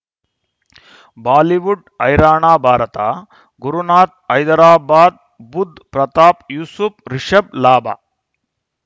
Bollywood ಹೈರಾಣ ಭಾರತ ಗುರುನಾಥ್ ಹೈದರಾಬಾದ್ ಬುಧ್ ಪ್ರತಾಪ್ ಯೂಸುಫ್ ರಿಷಬ್ ಲಾಭ